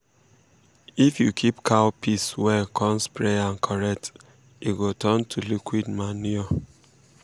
if you keep cow piss well con spray am correct e go turn to liquid um manure.